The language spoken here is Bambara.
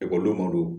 Ekɔlidenw do